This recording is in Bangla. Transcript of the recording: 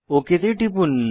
ওক তে টিপুন